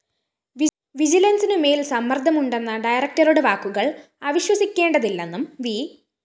വിജിലന്‍സിനു മേല്‍ സമ്മര്‍ദ്ദമുണ്ടെന്ന ഡയറക്ടറുടെ വാക്കുകള്‍ അവിശ്വസിക്കേണ്ടതില്ലെന്നും വി